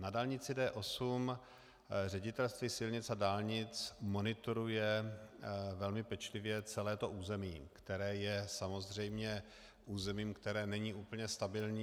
Na dálnici D8 Ředitelství silnic a dálnic monitoruje velmi pečlivě celé území, které je samozřejmě územím, které není úplně stabilní.